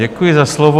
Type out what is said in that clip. Děkuji za slovo.